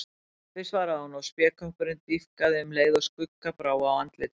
Pabbi, svaraði hún og spékoppurinn dýpkaði um leið og skugga brá á andlitið.